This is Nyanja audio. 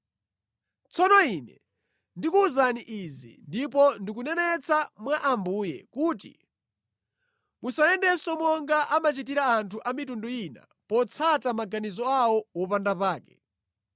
Tsono ine ndikukuwuzani izi, ndipo ndikunenetsa mwa Ambuye, kuti musayendenso monga amachitira anthu a mitundu ina potsata maganizo awo opanda pake.